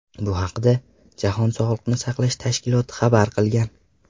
Bu haqda jahon sog‘liqni saqlash tashkiloti xabar qilgan .